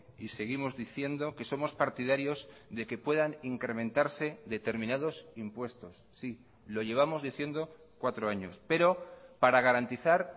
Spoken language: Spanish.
y seguimos diciendo que somos partidarios de que puedan incrementarse determinados impuestos sí lo llevamos diciendo cuatro años pero para garantizar